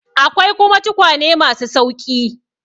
Akwai kuma tukwane ma su sauƙi.